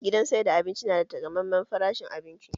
Gidan sayar da abinci na da taƙamaiman farashi abinci